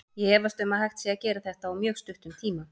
Ég efast um að hægt sé að gera þetta á mjög stuttum tíma.